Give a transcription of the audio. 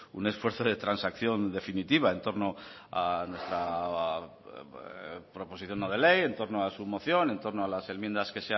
un esfuerzo de transacción definitiva en torno a nuestra proposición no de ley en torno a su moción en torno a las enmiendas